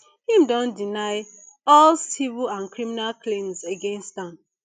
im don deny all civil and criminal claims against am